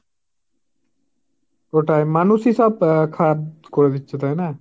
ওটাই মানুষই সব খারাব করে দিচ্ছে তাই না।